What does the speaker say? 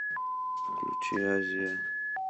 включи азия